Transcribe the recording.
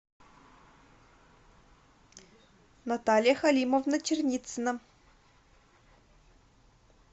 наталья халимовна черницына